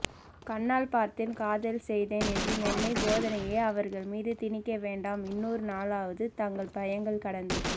கண்ணால் பார்த்தேன் காதல் செய்தேனென்ற மொன்னை போதனையை அவர்கள் மீது திணிக்கவேண்டாம் இன்றொரு நாளாவது தங்கள் பயங்கள் கடந்து